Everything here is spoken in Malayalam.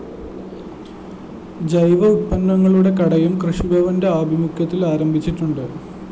ജൈവ ഉത്പന്നങ്ങളുടെ കടയും കൃഷിഭവന്റെ ആഭിമുഖ്യത്തില്‍ ആരംഭിച്ചിട്ടുണ്ട്